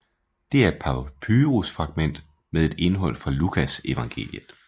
Det er et papyrus fragment med et indhold fra Lukasevangeliet